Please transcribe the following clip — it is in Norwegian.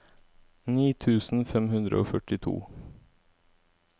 ni tusen fem hundre og førtito